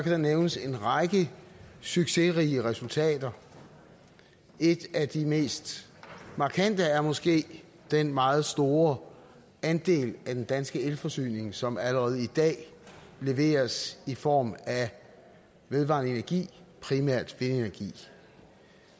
der nævnes en række succesrige resultater et af de mest markante er måske den meget store andel af den danske elforsyning som allerede i dag leveres i form af vedvarende energi primært vindenergi